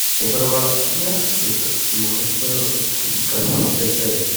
доброго дня суток вы можете пожалуйста включить канал стс